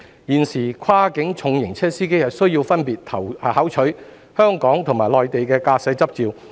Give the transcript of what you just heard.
現時，跨境重型車司機需要分別考取香港和內地駕駛執照。